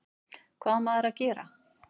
Hvað á maður að gera?